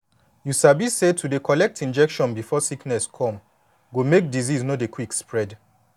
you sabi say to dey dey collect injection before sickness come go make disease no dey quick spread